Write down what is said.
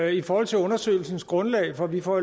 i forhold til undersøgelsens grundlag for vi får